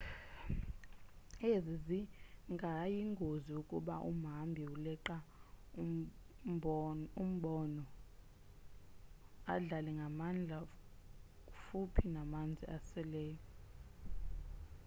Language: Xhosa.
ezi zingayingozi ukuba umhambi uleqa umbono adlale ngamandla futhi namanzi aseleyo